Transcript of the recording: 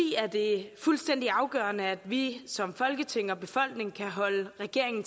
er det fuldstændig afgørende at vi som folketing og befolkning kan holde regeringen